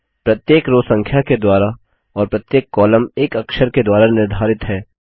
प्रत्येक रो संख्या के द्वारा और प्रत्येक कॉलम एक अक्षर के द्वारा निर्धारित है